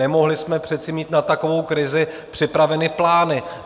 Nemohli jsme přece mít na takovou krizi připraveny plány.